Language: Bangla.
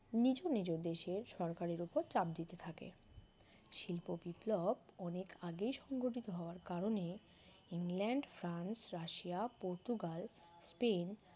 নিজ নিজ দেশের সরকারের উপর চাপ দিতে থাকে শিল্প বিপ্লব অনেক আগে সংঘটিত হওয়ার কারণে England France Russia Portugal Spain